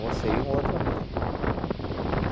Você e um outro amigo.